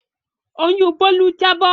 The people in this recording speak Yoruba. Oyún Bólú jábọ̀